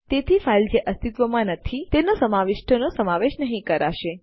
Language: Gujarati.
તેથી ફાઈલ જે અસ્તિત્વમાં નથી તેના સમાવિષ્ટોનો સમાવેશ નહી કરાશે